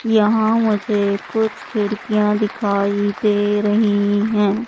यहां मुझे कुछ खिड़कियां दिखाई दे रही है।